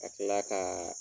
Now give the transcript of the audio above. Ka tila kaa